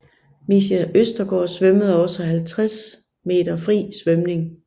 Micha Østergaard svømmede også 50 m fri svømning